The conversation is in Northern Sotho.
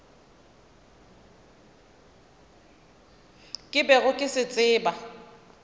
ke bego ke se tseba